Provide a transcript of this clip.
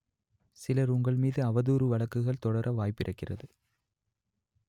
சிலர் உங்கள் மீது அவதூறு வழக்குகள் தொடர வாய்ப்பிருக்கிறது